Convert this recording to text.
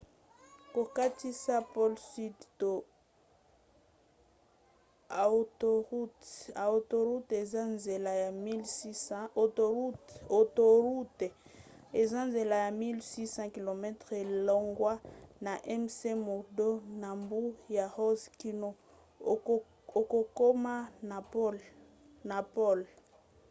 kokatisa pole sudi to autoroute eza nzela ya 1 600 km longwa na mcmurdo na mbu ya ross kino okokoma na pole